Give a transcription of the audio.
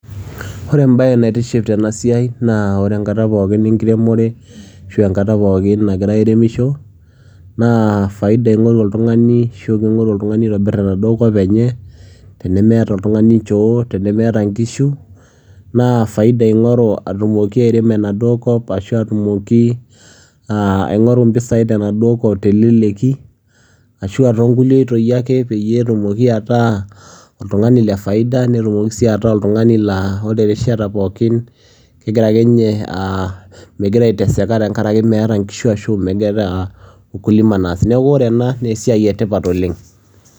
Wore enaabaye naitiship tena siai naa wore enkata pookin enkiremore ashu enkata pookin nagira airemisho naa faida ingoru oltungani ashu pii ingoru oltungani aitobir enaduo kop enye, tenemeeta oltungani inchoo, tenemeeta inkishu naa faida ingoru aatumoki airem enaduo kop ashua aatumoki aingoru impisai tenaduo kop teleleki ashua tookulie oitoi ake peyie etumoki ataa oltungani lee faida netumoki sii ataa oltungani laa wore erishata pookin, kegira ake ninye aaah megira aiteseka tengaraki meeta inkishu ashua keeta ukulima naas. Niaku wore enaa naa esiai etipat oleng.